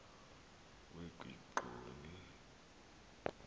wekigxoni